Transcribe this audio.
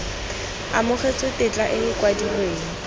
amogetswe tetla e e kwadilweng